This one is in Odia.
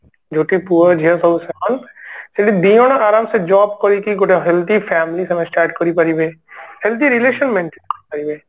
ଯୋଉଠି ପୁଅ ଝିଅ ସବୁ ସମାନ ଯେମିତି ଦି ଜଣ ଆରମ ସେ job କରିକି ଗୋଟେ healthy family ଗୋଟେ start କରିପାରିବେ healthy relation maintain କରିପାରିବେ